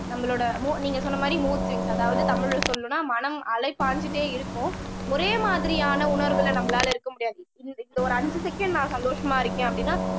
நம்மளோட மூ நீங்க சொன்ன மாதிரி மூட் ஸ்விங்ஸ் அதாவது தமிழ்ல சொல்லணும்னா மனம் அலை பாஞ்சுட்டே இருக்கும் ஒரே மாதிரியான உணர்வுல நம்மளால இருக்க முடியாது இந்த இந்த ஒரு அஞ்சு செகண்ட் நான் சந்தோஷமா இருக்கேன் அப்படின்னா